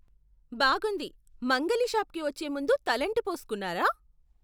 బాగుంది! మంగలి షాప్కి వచ్చే ముందు తలంటి పోస్కున్నారా?